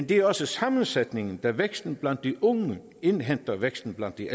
det er også sammensætningen da væksten blandt de unge indhenter væksten blandt de